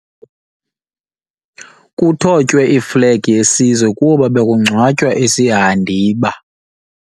Kuthotywe iflegi yesizwe kuba bekungcwatywa isihandiba.